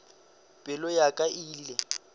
pelo ya ka e ile